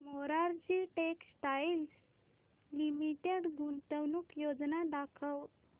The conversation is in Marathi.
मोरारजी टेक्स्टाइल्स लिमिटेड गुंतवणूक योजना दाखव